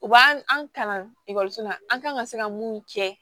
U b'an kalan ekɔliso la an kan ka se ka mun kɛ